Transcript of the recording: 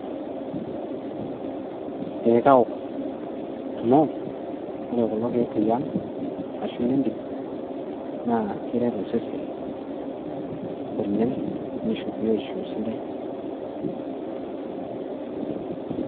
Eeh kaok amu ore kulo kiek liang ashu ile ntim naa keret osesen nisho biotisho sidai .